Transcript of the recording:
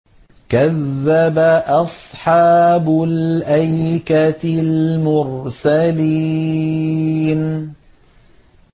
كَذَّبَ أَصْحَابُ الْأَيْكَةِ الْمُرْسَلِينَ